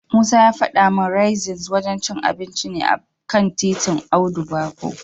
Musa ya fada min Raisins wajen cin abinci ne a kan titin Audu Bako.